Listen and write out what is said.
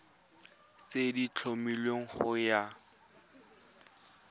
tse di tlhomilweng go ya